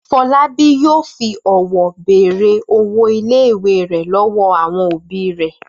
Fọlábí yóò fi ọ̀wọ́ bèrè owó ilé-ìwé rẹ̀ lọ́wọ́ àwọn òbí rẹ̀.